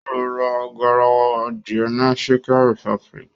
Ó lọ ra garawa adìẹ ni chicken republic